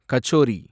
kachori